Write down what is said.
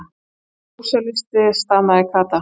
Hann er sósíalisti, stamaði Kata.